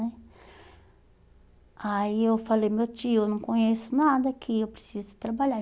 né Aí eu falei, meu tio, eu não conheço nada aqui, eu preciso trabalhar.